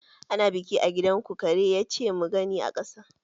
Ana biki a gidanku Kare ya ce mu gani a ƙasa